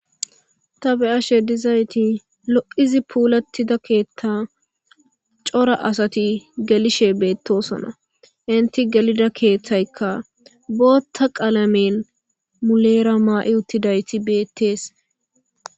ta be7ashe dizayti lo7izi puulattida keeththa cora asati gelishe beettosona inti gelida keeththaykka bootta qaalamen muleera maa7i uttidayti beettees